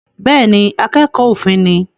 Bẹ́ẹ̀ ni, akẹ́kọ̀ọ́ òfin ni